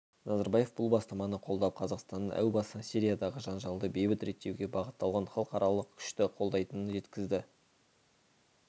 назарбаев бұл бастаманы қолдап қазақстанның әу бастан сириядағы жанжалды бейбіт реттеуге бағытталған халықаралық күшті қолдайтынын жеткізді